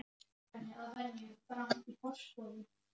Má ég kannski sitja í hjá þér þangað upp eftir?